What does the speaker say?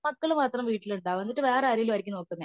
മക്കളും മാത്രം വീട്ടിലുണ്ടകും എന്നിട്ട് വേറെ ആരെലും ആയിരിക്കും നോക്കുന്നേ